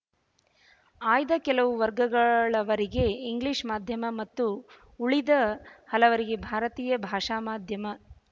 ಆಯ್ದ ಕೆಲವು ವರ್ಗಗಳವರಿಗೆ ಇಂಗ್ಲೀಷ್ ಮಾಧ್ಯಮ ಮತ್ತು ಉಳಿದ ಹಲವರಿಗೆ ಭಾರತೀಯ ಭಾಷಾ ಮಾಧ್ಯಮ